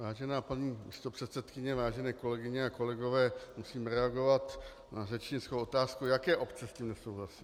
Vážená paní místopředsedkyně, vážené kolegyně a kolegové, musím reagovat na řečnickou otázku, jaké obce s tím nesouhlasí.